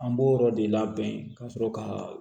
An b'o yɔrɔ de labɛn ka sɔrɔ ka